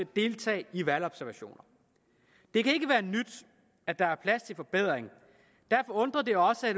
deltage i valgobservationer det kan ikke være nyt at der er plads til forbedringer derfor undrer det også